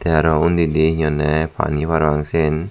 tey aro undidi hi honney pani parapang siyan.